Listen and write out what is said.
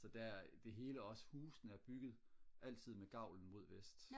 så der det hele også husene er bygget altid med gavlen mod vest